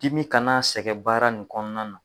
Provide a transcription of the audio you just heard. Dimi kan'a sɛgɛ baara nin kɔnɔna na